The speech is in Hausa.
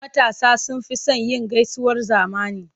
Matasa sun fi son yin gaisuwar zamani.